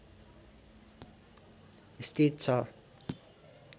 स्थिति छ